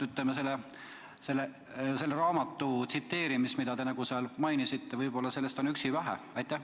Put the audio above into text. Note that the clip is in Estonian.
Pelgalt selle raamatu tsiteerimisest, mida te mainisite, jääb võib-olla üksi väheks.